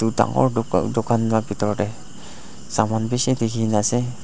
edu dangoor duka dukan la bitor tae saman bishi dikhina ase.